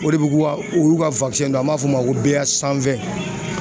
O de be k'u ka, o y'u dɔ ye , n'an b'a fɔ o ma ko